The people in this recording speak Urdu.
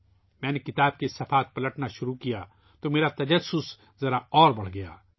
جب میں نے کتاب کے صفحات کو پلٹنا شروع کیا تو میرا تجسس کچھ اور بڑھ گیا